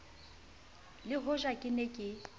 le hoja ke ne ke